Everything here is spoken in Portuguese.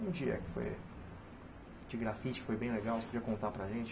Um dia que foi... De grafite que foi bem legal, você podia contar para a gente?